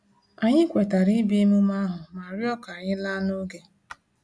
Anyị kwetara ibia emume ahu ma rịọ ka anyị laa n'oge